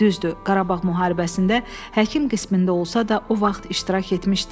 Düzdür, Qarabağ müharibəsində həkim qismində olsa da, o vaxt iştirak etmişdi.